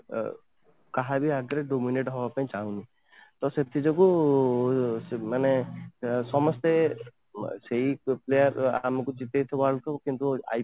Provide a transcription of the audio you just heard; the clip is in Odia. କାହାରି ଆଗରେ Dominent ହେବା ପାଇଁ ଚାହୁଁନି ତ ସେଥିଯୋଗୁଁ ଉଁ ମାନେ ସମସ୍ତେ ସେଇ player ଆମକୁ ଟିକେ କିନ୍ତୁ